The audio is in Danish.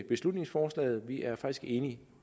beslutningsforslaget vi er faktisk enige